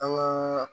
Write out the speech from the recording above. An ka